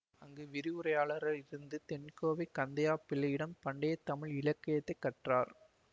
அங்கு விரிவுரையாளராயிருந்த தென்கோவை கந்தையா பிள்ளையிடம் பண்டையத் தமிழ் இலக்கியத்தைக் கற்றார்